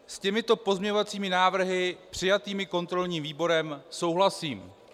S těmito pozměňovacími návrhy přijatými kontrolním výborem souhlasím.